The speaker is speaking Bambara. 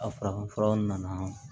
A farafinfuraw nana